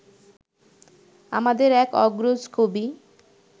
আমাদের এক অগ্রজ কবি